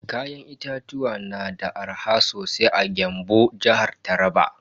Kayan itatuwa na da arha sosai a Gembu, jihar Taraba.